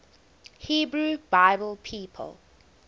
hebrew bible people